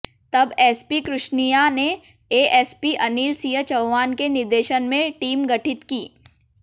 तब एसपी कृष्णियां ने एएसपी अनिल सिंह चौहान के निर्देशन में टीम गठित की